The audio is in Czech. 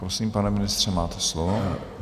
Prosím, pane ministře, máte slovo.